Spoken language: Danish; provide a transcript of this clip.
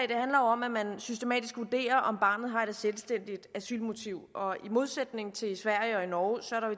om at man systematisk vurderer om barnet har et selvstændigt asylmotiv og i modsætning til i sverige og i norge